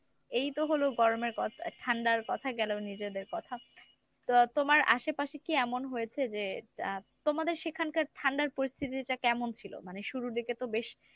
এইতো হল গরমের ক~ ঠান্ডার কথা গেল নিজেদের কথা। তো তোমার আশেপাশে কী এমন হয়েছে যে আহ তোমাদের সেখানকার ঠান্ডার পরিস্থিতিটা কেমন ছিল? মানে শুরুর দিকে তো বেশ